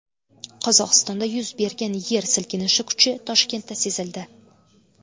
Qozog‘istonda yuz bergan yer silkinishi kuchi Toshkentda sezildi.